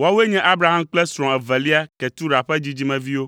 Woawoe nye Abraham kple srɔ̃a evelia, Ketura ƒe dzidzimeviwo.